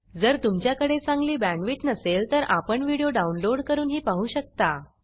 जर तुमच्याकडे चांगली बॅंडविड्त नसेल तर आपण व्हिडिओ डाउनलोड करूनही पाहू शकता